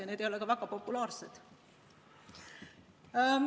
Ja need ei ole ka väga populaarsed.